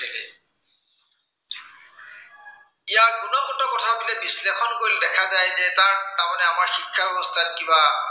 ইয়াৰ গুণগত কথাবোৰ বিশ্লেষণ কৰিলে দেখা যায় যে, তাত তাৰমানে আমাৰ শিক্ষা ব্য়ৱস্থাত কিবা